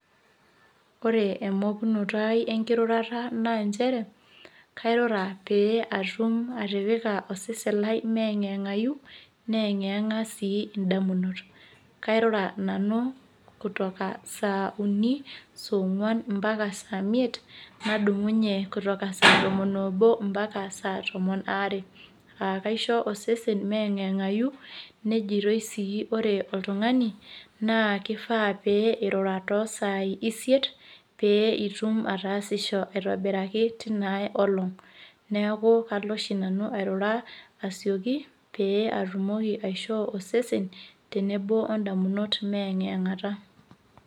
ore emokunoto ai enkirurata naa nchere, kairura pee atum atipika osesen lai meyang'iyang'ayu, neyeng'iyeng'a sii idamunot. kairura nanu kutoka saa uni, soo ng'uan paka saa imiet. nadumunye saa tomon obo mpaka saa tomon aare. kaisho ossen meyeng'iyeng'ayu, nejitoi sii ore oltungani kifaa pee irura too saai isiet, pee itum ataasisho aitobiraki teina ae olong;.neeku kalo oishu nanu airura asioki pee atumoki aishoo osesen tenebo odamunot meyang'yeng'ata.